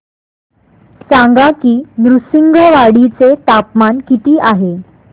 सांगा की नृसिंहवाडी चे तापमान किती आहे